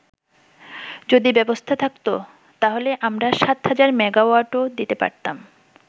যদি ব্যবস্থা থাকতো, তাহলে আমরা ৭০০০ মেগাওয়াটও দিতে পারতাম।